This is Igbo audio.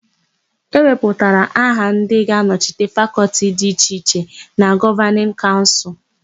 E wepụtara aha ndị ga-anọchite Fakọltị dị iche iche na Gọvanịn Kaụnsụl.